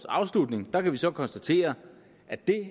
afslutning kan vi så konstatere at det